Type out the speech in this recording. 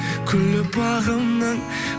гүлі бағымның